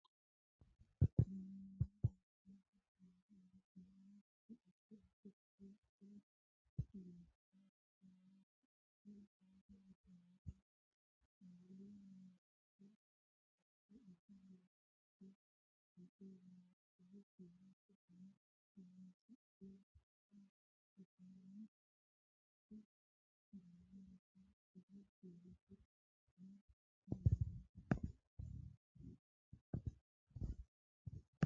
meyaa labbaahu saada allaaltinowa kuri addi addi kiiro xaa geeshsha kiirino ikko gamba yitinowa qaali mancho bande afa hooga Layinkihu kiirote dona horonsidhe togo yitanni kuri baalanta qaali kiirote dona mamoote.